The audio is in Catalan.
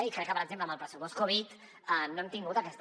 i crec que per exemple amb el pressupost covid no hem tingut aquesta